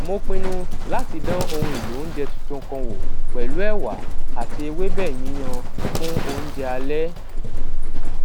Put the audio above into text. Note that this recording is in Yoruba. mo pinnu láti dán ohun èlò oúnjẹ tuntun kan wò pèlú èwà àti ewébè yíyan fún oúnjẹ alé